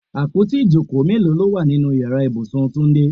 Àpótí ìjókòó mélòó ló wà nínú Ìyàrá ibùsùn túndé?